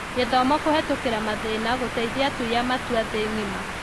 Gĩthomo kũhetũkĩra mathĩna: Gũteithia atui a matua thĩ ng'ima